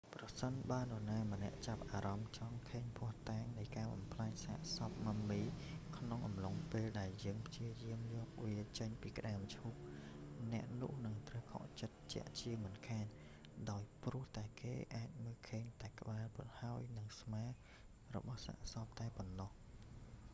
ប្រសិនបើនរណាម្នាក់ចាប់អារម្មណ៍ចង់ឃើញភស្តុតាងនៃការបំផ្លាញសាកសព mummy ក្នុងអំឡុងពេលដែលយើងព្យាយាមយកវាចេញពីក្តារមឈូស អ្នកនោះនឹងត្រូវខកចិត្តជាក់ជាមិនខាន ដោយព្រោះតែគេអាចមើលឃើញតែក្បាល ហើយនិងស្មារបស់សាកសពតែប៉ុណ្ណោះ